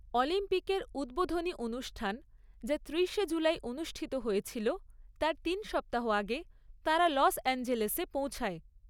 অলিম্পিকের উদ্বোধনী অনুষ্ঠান যা ত্রিশে জুলাই অনুষ্ঠিত হয়েছিল, তার তিন সপ্তাহ আগে তাঁরা লস অ্যাঞ্জেলেসে পৌঁছায়।